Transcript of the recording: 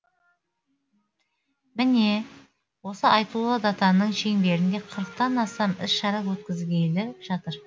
міне осы айтулы датаның шеңберінде қырықтан астам іс шара өткізілгелі жатыр